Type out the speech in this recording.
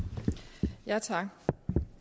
jeg siger tak